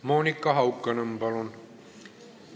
Monika Haukanõmm, palun!